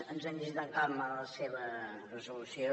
ens hem llegit amb calma la seva resolució